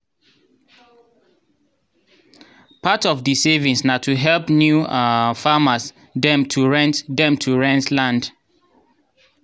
part of di savings na to help new um farmers dem to rent dem to rent land.